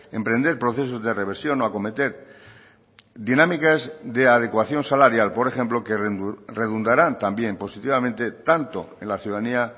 emprender procesos de reversión o acometer dinámicas de adecuación salarial por ejemplo que redundarán también positivamente tanto en la ciudadanía